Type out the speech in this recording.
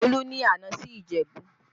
Olú ni àná sí Ìjẹ̀bú